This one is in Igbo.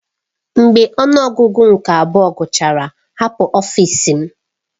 Mgbe ọnụ ọgụgụ nke abụọ gachara hapụ ọfịs m!